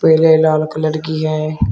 पीले लाल कलर की है।